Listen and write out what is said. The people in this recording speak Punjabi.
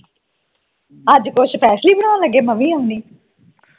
ਅੱਜ ਕੁਝ special ਬਣਾਉਣ ਲੱਗੇ ਮੈਂ ਵੀ ਆਉਂਨਿ